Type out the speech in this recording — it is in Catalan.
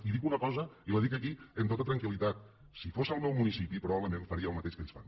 i dic un cosa i la dic aquí amb tota tranquil·litat si fos el meu municipi probablement faria el mateix que ells fan